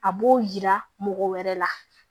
A b'o yira mɔgɔ wɛrɛ la